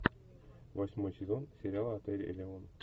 восьмой сезон сериала отель элеон